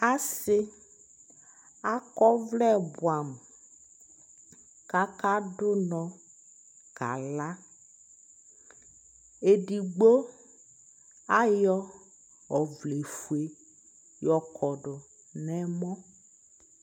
asii akɔ ɔvlɛ bʋamʋ ka aka dʋnɔ kala, ɛdigbɔ ayɔ ɔvlɛ ƒʋɛ yɔkɔdʋ nʋ ɛmɔ